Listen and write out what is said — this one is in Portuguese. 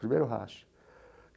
Primeiro racha.